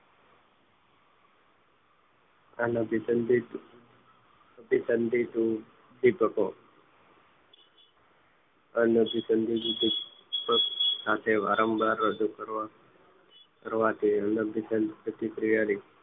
અન અભીસંધિત અભીસંધિત હું અનુસંધિત સાથે વારંમવાર કરવાનું કરવાથી પ્રતિક્રિયા ની